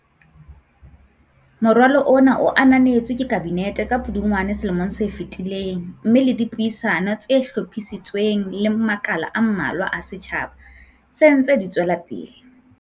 Moralo ona o ananetswe ke Kabinete ka Pudungwana selomong se fetileng mme le dipuisano tse hlophisitsweng le makala a mmalwa a setjha ba, se dintse di tswelapele.